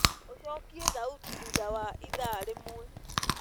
ũcokĩe thaũtĩ thũtha wa ĩthaa rĩmwe